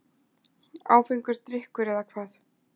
Áfengur drykkur, eða hvað?